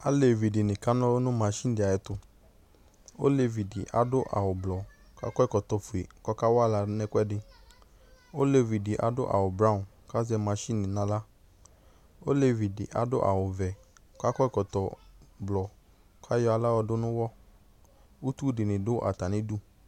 Alevi dɩnɩ kana ɔlʋ nʋ masin dɩ ayɛtʋ Olevi dɩ awʋblɔ kʋ akɔ ɛkɔtɔfue kʋ ɔkawa aɣla nʋ ɛkʋɛdɩ Olevi dɩ adʋ awʋbrawɔn kʋ azɛ masin nʋ aɣla Olevi dɩ adʋ awʋvɛ kʋ akɔ ɛkɔtɔblɔ kʋ ayɔ aɣla yɔdʋ nʋ ʋɣɔ Utu dɩnɩ dʋ atamɩdu